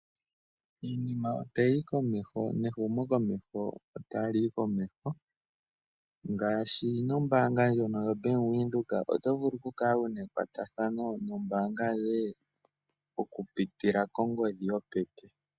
Iinima sho tayi yi komeho nehumokomeho ota li yi komeho ngaashi nombaanga ndjono yoBank Windhoek. Oto vulu oku kala wu na ekwatathano noombaanga yoye oku pitila kongodhi yopeke.